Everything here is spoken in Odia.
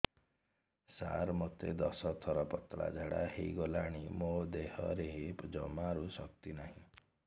ସାର ମୋତେ ଦଶ ଥର ପତଳା ଝାଡା ହେଇଗଲାଣି ମୋ ଦେହରେ ଜମାରୁ ଶକ୍ତି ନାହିଁ